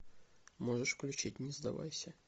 можешь включить не сдавайся